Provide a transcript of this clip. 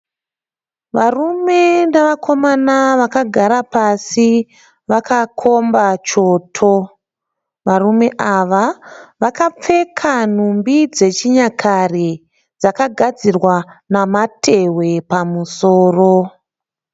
Varume nevakomana vakagara pasi vakakomba choto. Varume ava vakapfeka nhumbi dzechinyakare dzakagadzirwa namatehwe pamusoro.